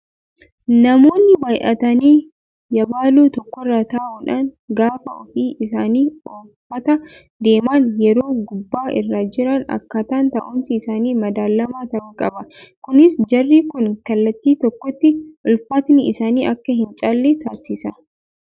Namoonni baay'atanii yabaloo tokkorra taa'uudhaan gaafa ofii isaanii ooffataa deeman yeroo gubbaa irra jiran akkaataan taa'umsa isaanii madaalamaa ta'uu qaba. Kunis jarri kun kallattii tokkotti ulfaatinni isaanii akka hin caalle taasisa.